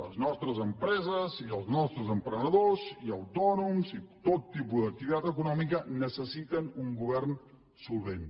les nostres empreses i els nostres emprenedors i autònoms i tot tipus d’activitat econòmica necessiten un govern solvent